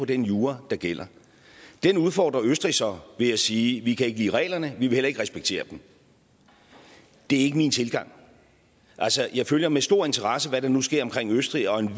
den jura der gælder den udfordrer østrig så ved at sige vi kan ikke lide reglerne vi vil heller ikke respektere dem det er ikke min tilgang jeg følger med stor interesse hvad der nu sker omkring østrig og en